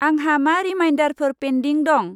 आंहा मा रिमाइदारफोर पेन्दिं दं?